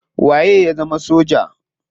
Waye ya zama soja?